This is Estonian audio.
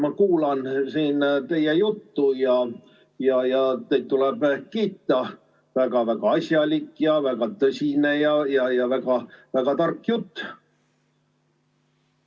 Ma kuulan teie juttu ja teid tuleb kiita – väga-väga asjalik ja tõsine ja väga tark jutt.